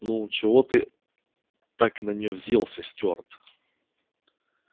ну чего ты так на нее взъелся стюарт